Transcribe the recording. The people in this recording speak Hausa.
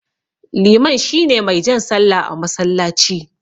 Liman shine mai jan sallah a masallaci.